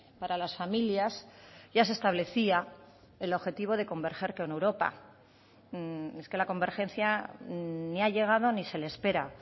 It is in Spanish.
para las familias ya se establecía el objetivo de converger con europa es que la convergencia ni ha llegado ni se le espera